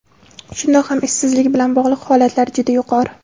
Shundoq ham ishsizlik bilan bog‘liq holatlar juda yuqori.